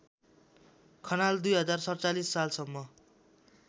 खनाल २०४७ सालसम्म